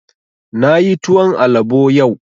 Na yi tuwon alabo yau